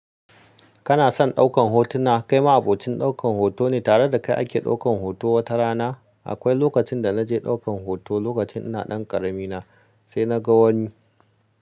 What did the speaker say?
Kana son ɗaukar hotuna? Kai ma abokin ɗaukan hoto ne tare da kai ake ɗaukan hoto wata rana. Akwai lokacin da na je ɗaukar hoto lokacin ina ɗan ƙarami na sai na ga wani.